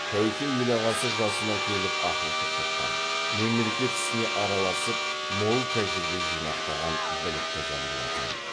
тәуке ел ағасы жасына келіп ақыл тоқтатқан мемлекет ісіне араласып мол тәжірибе жинақтаған білікті жан болатын